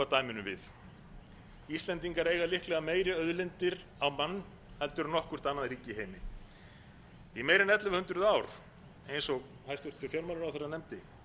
dæminu við íslendingar eiga líklega meiri auðlindir á mann heldur en nokkurt annað ríki í heimi í meira en ellefu hundruð ár eins og hæstvirtur fjármálaráðherra nefndi